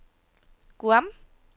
Guam